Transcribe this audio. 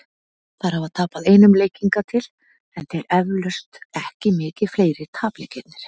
Þær hafa tapað einum leik hingað til, en þeir eflaust ekki mikið fleiri- tapleikirnir.